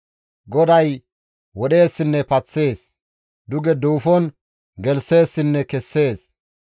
«GODAY wodheessinne paththees; duge duufon gelththeessinne kessees.